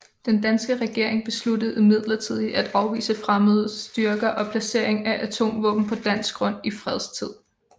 Den danske regering besluttede imidlertid at afvise fremmede styrker og placering af atomvåben på dansk grund i fredstid